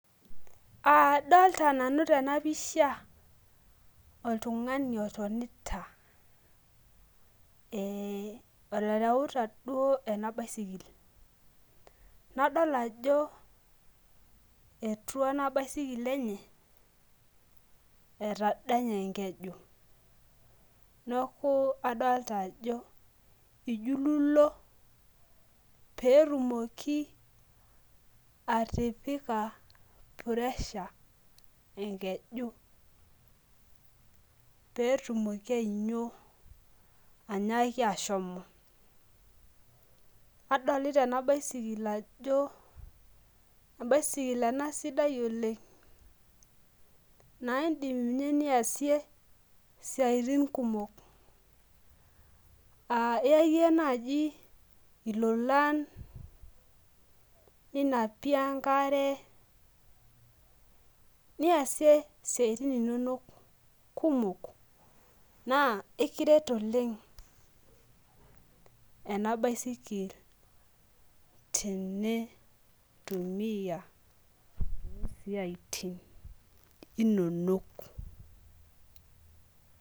adolta nanu tena pisha oltung'ani otonita, oreuta duo ena basikil, nadol ajo etua ena basikil enye etadanye enkeju neeku adolita ajo ijululo pee etumoki atukutaki piresha, enkeju pee etumoki ainyio ashomo, nadolita ena basikil ajo ebasikil ena sidai oleng' naa idim ninye niyasie isiaitin kumok aa iyayie naaji ilolan, ninapie enkare, niyasie isiaitin inonok kumok naa ekiret oleng ena baisikil tenitumiya too siaitin inonok.